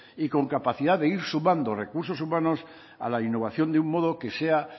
y con capacidad de ir sumando recursos humanos a la innovación de un modo que sea